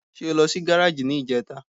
Ṣé o lọ sí gáràjì ní ìjẹta?